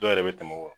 Dɔw yɛrɛ bɛ tɛmɛ